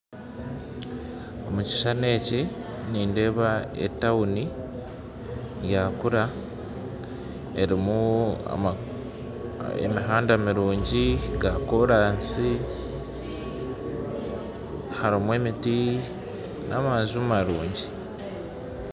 Omu kishushani eki nindeeba tawuni yakura erimu emihanda mirungi yakoraasi harimu emiti n'amaju marungi